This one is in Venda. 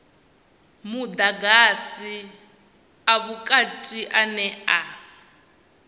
mudagasi a vhukati ane a